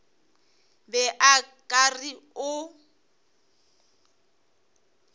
be o ka re o